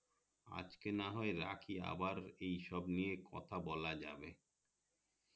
আজকে না হয় রাখি আবার এই সব নিয়ে কথা বলা যাবে